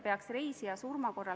Peeter Ernits, palun!